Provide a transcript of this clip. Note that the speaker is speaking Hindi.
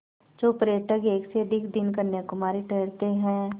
जो पर्यटक एक से अधिक दिन कन्याकुमारी ठहरते हैं